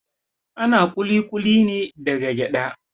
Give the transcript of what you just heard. Ana kulikuli na da gyada.